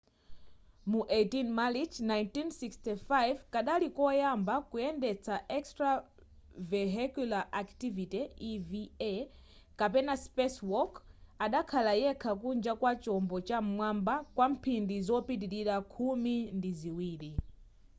mu 18 marichi 1965 kadali koyamba kuyendesa extravehicular activity eva kapena spacewalk” adakhala yekha kunja kwa chombo cha m'mwamba kwa mphindi zopitilira khumi ndi ziwiri